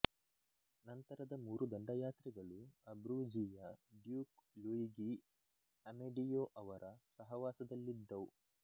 ನಂತರದ ಮೂರು ದಂಡಯಾತ್ರೆಗಳು ಅಬ್ರೂಝಿ ಯ ಡ್ಯೂಕ್ ಲುಯಿಗಿ ಅಮೆಡಿಯೊ ಅವರ ಸಹವಾಸದಲ್ಲಿದ್ದವು